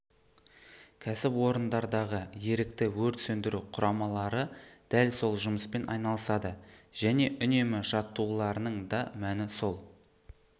кәсіпорындардағы ерікті өрт сөндіру құрамалары дәл сол жұмыспен айналысады және үнемі жаттығуларының да мәні сол